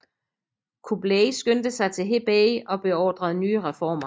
Kublai skyndte sig til Hebei og beordrede nye reformer